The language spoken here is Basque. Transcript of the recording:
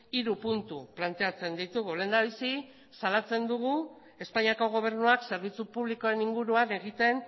hiru puntu planteatzen ditugu lehendabizi salatzen dugu espainiako gobernuak zerbitzu publikoen inguruan egiten